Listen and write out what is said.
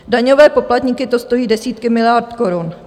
Daňové poplatníky to stojí desítky miliard korun.